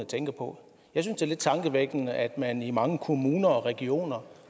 tænker på jeg synes det er lidt tankevækkende at man i mange kommuner og regioner